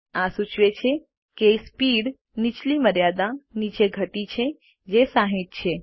આ સૂચવે છે કે સ્પીડ નીચલી મર્યાદા નીચે ઘટી છે જે 60 છે